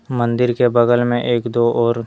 मंदिर के बगल मे एक दो और--